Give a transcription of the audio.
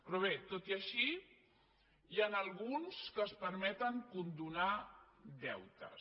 però bé tot i així n’hi ha alguns que es permeten condonar deutes